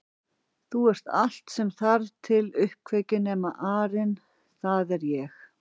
Þú ert allt sem þarf til uppkveikju nema arinn það er ég